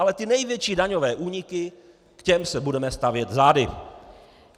Ale ty největší daňové úniky, k těm se budeme stavět zády.